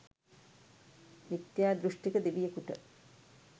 මිථ්‍යා දෘෂ්ටික දෙවියකුට